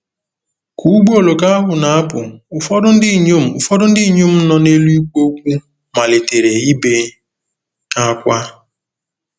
Ka ụgbọ oloko ahụ na-apụ, ụfọdụ ndị inyom ụfọdụ ndị inyom nọ n'elu ikpo okwu malitere ibe ákwá.